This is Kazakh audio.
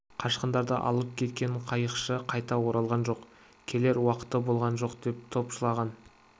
қашқындарды алып кеткен қайықшы қайта оралған жоқ келер уақыты болған жоқ деп топшылаған